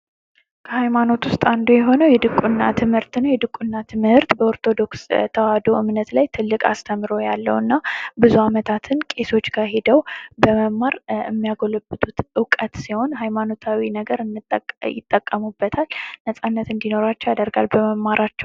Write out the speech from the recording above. ከሃይማኖት ውስጥ አንዱ የሆነው የድቁና ትምህርት ነው። የድቁና ትምህርት በኦርቶዶክስ እምነት ላይ ትልቅ አስተዋጽኦ ያለውና ብዙ ዓመታትን ቄሶች ጋሂደው የሚያጎለብቱ እውቀት ሲሆን ለሀይማኖታዊ ነገር እንዲጠቀሙት ያደርጋል እንዲኖራቸው ያደርጋል በሚጠቀሙት ነገር።